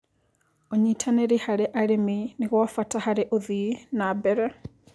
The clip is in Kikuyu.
Ũnyĩtanĩrĩ harĩ arĩmĩ nĩgwabata harĩ ũthĩĩ nambere